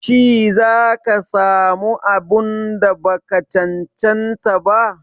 Shi za ka sa mu abun da ba ka cancanta ba?